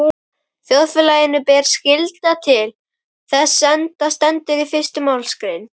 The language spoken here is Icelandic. Þjóðfélaginu ber skylda til þess, enda stendur í fyrstu málsgrein